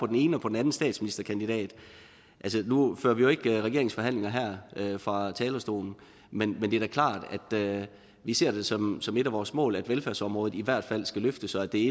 den ene og den anden statsministerkandidat altså nu fører vi jo ikke regeringsforhandlinger her fra talerstolen men det er da klart at vi ser det som et af vores mål at velfærdsområdet i hvert fald skal løftes og at det